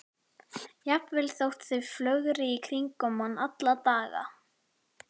Jafnvel þótt þau flögri í kringum mann alla daga.